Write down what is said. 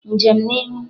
Njem n'ihu!